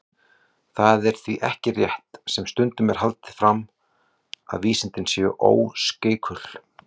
Það er því ekki rétt, sem stundum er haldið fram, að vísindin séu óskeikul.